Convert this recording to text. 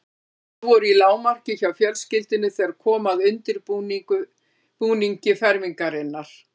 Auraráð voru í lágmarki hjá fjölskyldunni þegar kom að undirbúningi fermingarinnar.